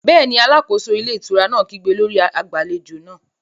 Bẹ́ẹ̀ni, alákóso ilé ìtura náà kígbe lórí agbàlejò náà